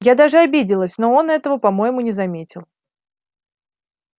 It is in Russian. я даже обиделась но он этого по-моему не заметил